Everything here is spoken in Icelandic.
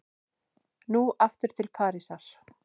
Nú aftur til Parísar.